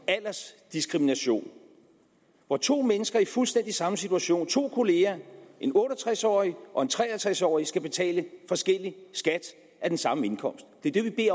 aldersdiskrimination hvor to mennesker i fuldstændig samme situation to kollegaer en otte og tres årig og tre og tres årig skal betale forskellig skat af den samme indkomst det er det vi